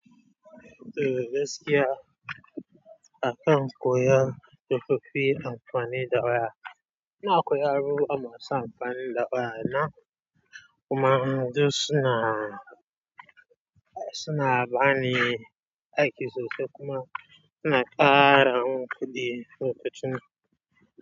To gaskiya akan koyon tsofaffi amfani da waya, ina koyar abubuwa masu amfanin da waya na kuma duk suna, suna bani aiki sosai kuma suna kara mun kuɗi lokacin.